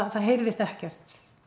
það heyrðist ekkert